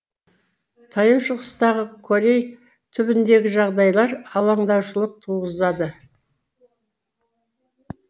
таяу шығыстағы корей түбегіндегі жағдайлар алаңдаушылық туғызады